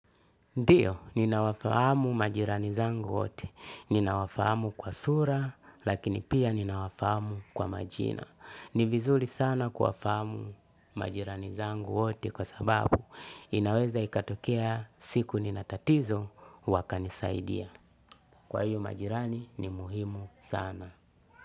Ndiyo, ninawafahamu majirani zangu wote. Ninawafahamu kwa sura, lakini pia ninawafahamu kwa majina. Ni vizuri sana kuwafahamu majirani zangu wote kwa sababu inaweza ikatokea siku nina tatizo wakanisaidia. Kwa hiyo majirani ni muhimu sana.